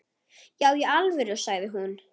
Já í alvöru, sagði hún.